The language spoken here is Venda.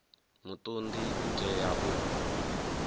muṱun ḓi u tea u